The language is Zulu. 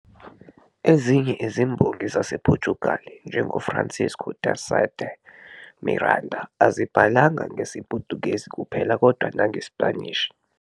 Ezinye izimbongi zasePortugal, njengoFrancisco de Sá de Miranda, azibhalanga ngesiPutukezi kuphela kodwa nangeSpanishi.